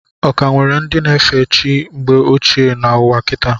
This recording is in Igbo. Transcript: Ọ ka nwere ndị na efe chi mgbe ochie n' ụwa kita?